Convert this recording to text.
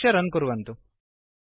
संरक्ष्य रन् कुर्वन्तु